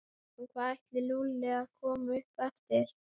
Klukkan hvað ætlaði Lúlli að koma upp eftir?